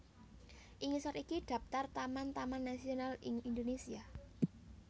Ing ngisor iki daphtar taman taman nasional ing Indonésia